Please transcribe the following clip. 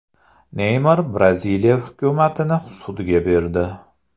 Neymar Braziliya hukumatini sudga berdi.